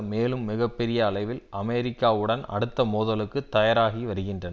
மேலும் மிக பெரிய அளவில் அமெரிக்காவுடன் அடுத்த மோதலுக்கு தயாராகி வருகின்றன